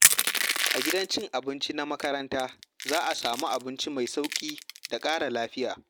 A gidan cin abinci na makaranta, za a samu abinci mai sauƙi da ƙara lafiya.